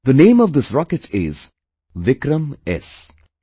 The name of this rocket is 'VikramS'